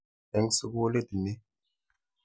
Eng' sukulit ni.